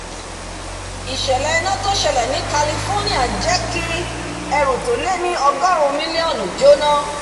ìsẹ̀lẹ̀ iná tí ó sẹlẹ̀ ní california jẹ́ kí ẹrù tó lé ní ọgọ́run mílíọ́nù jóná